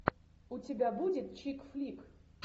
у тебя будет чик флик